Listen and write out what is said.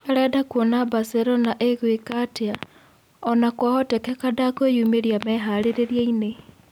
Arenda kuona Baselona ĩgũĩka atĩa, ona-kwahoteka ndekwĩyumĩria meharĩrĩriainĩ.